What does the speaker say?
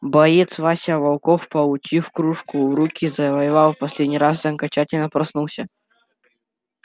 боец вася волков получив кружку в руки завоевал в последний раз и окончательно проснулся